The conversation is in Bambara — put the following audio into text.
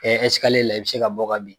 la i bɛ se ka bɔ ka bin.